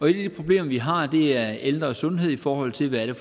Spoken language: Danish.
de problemer vi har er ældres sundhed i forhold til hvad det